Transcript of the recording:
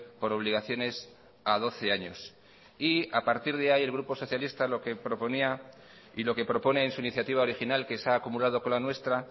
por obligaciones a doce años y a partir de ahí el grupo socialista lo que proponía y lo que propone en su iniciativa original que se ha acumulado con la nuestra